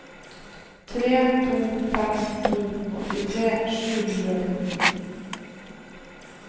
tre to fem to åttitre sju hundre og fjorten